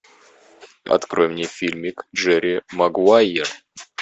открой мне фильмик джерри магуайер